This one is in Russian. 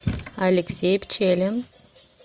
алексей пчелин